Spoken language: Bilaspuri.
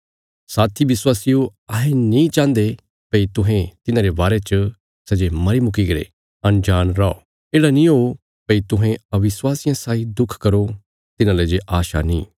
मेरे साथी विश्वासियो अहें चायें भई तुहें ये जाणी लो भई तिन्हां विश्वासियां सौगी क्या हुणा सै जे पैहले इ मरी चुक्कीरे अंजाण रौआ किति येढ़ा नीं हो भई तुहें अविश्वासी लोकां साई दुख मनाओ कांहभई तिन्हाजो आशा नीं भई मरने ते बाद सै दोबारा जिन्दा हुइ जाणे